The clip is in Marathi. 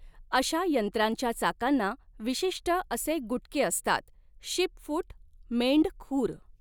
अशा यंत्रांच्या चाकांना विशिष्ट असे गुटके असतात शीपफुट मेंढखुर.